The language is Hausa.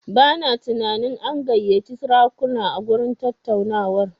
Bana tunanin an gayyaci sarakuna a gurin tattaunawar.